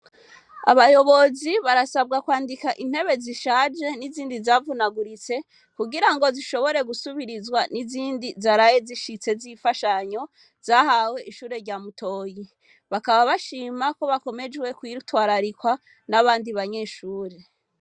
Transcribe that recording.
Abayobozi barasabwa kwandika intebe zishaje n'izindi zavunaguritse kugirango zishobore gusubirizwa n'izindi zaraye zishitse zimfashanyo zahawe ishure rya Mutoyi bakaba bashima ko bakomeje kwitwararikwa nabandi banyeshure.